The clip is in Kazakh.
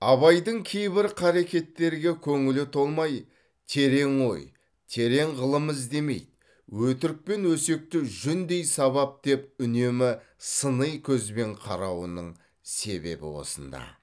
абайдың кейбір қарекеттерге көңілі толмай терең ой терең ғылым іздемейді өтірік пен өсекті жүндей сабап деп үнемі сыни көзбен қарауының себебі осында